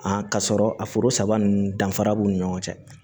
k'a sɔrɔ a foro saba nunnu danfara b'u ni ɲɔgɔn cɛ